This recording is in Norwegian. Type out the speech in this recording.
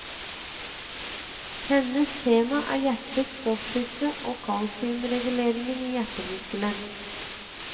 Hennes tema er hjertets stoffskifte og kalsiumreguleringen i hjertemuskelen.